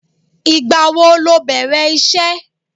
Ìgbà wo lo bẹ̀rẹ̀ iṣẹ́?